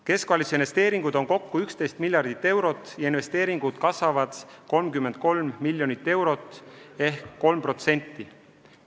Keskvalitsuse investeeringuid on kokku 11 miljardit eurot ja investeeringud kasvavad 33 miljonit eurot ehk 3%.